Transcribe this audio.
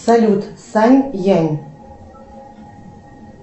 салют сань янь